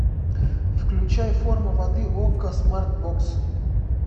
включай форма воды окко смарт бокс